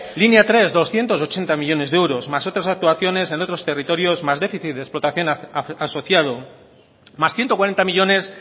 línea tres doscientos ochenta millónes de euros más otras actuaciones en otros territorios más déficit de explotación asociado más ciento cuarenta millónes